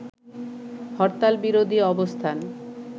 হরতালবিরোধী অবস্থান